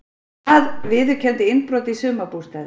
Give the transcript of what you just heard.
Par viðurkenndi innbrot í sumarbústaði